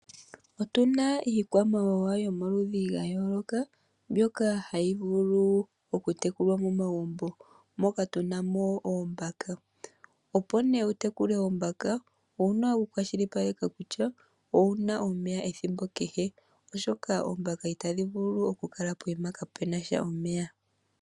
Otuna iikwamawawa yomaludhi gayoloka mbyoka hayi vulu oku tekulwa momagumbo. Moka tuna mo oombaka. Opo nee wu tekule oombaka owuna oku kwashilipaleka kutya owuna omeya ethimbo kehe, oshoka oombaka itadhi vulu oku kala pokuma kaapena omeya.